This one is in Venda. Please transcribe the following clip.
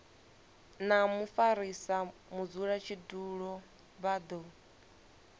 na mufarisa mudzulatshidulo vha do